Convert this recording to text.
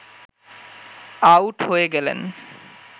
out হয়ে গেলেন